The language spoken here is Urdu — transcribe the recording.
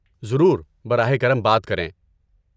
ضرور، براہ کرم بات کریں!